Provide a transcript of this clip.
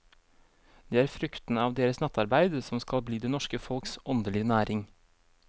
Det er fruktene av deres nattarbeid som skal bli det norske folks åndelige næring.